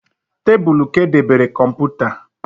Tabulu ka e debere kọmputa